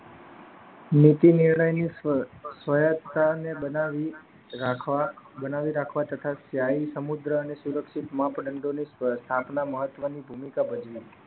નીતિ બનાવી રાખવા તથા સ્થાયી સમુદ્ર અને સુરક્ષિત માપદંડો ને સકના મહત્વની ભૂમિકા ભજવી